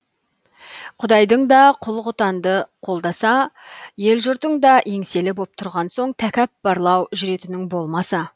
құдайың да құл құтанды қолдаса ел жұртың да еңселі боп тұрған соң тәкаппарлау жүретінің болмаса